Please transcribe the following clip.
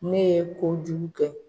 Ne ye kojugu kɛ.